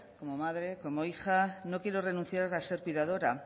como madre como hija no quiere renunciar a ser cuidadora